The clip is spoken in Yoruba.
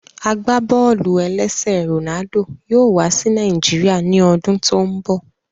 Agbábọ́ọlù-ẹlẹ́sẹ̀ Ronaldo yóò wá sí Nàìjíríà ní ọdún tó n bọ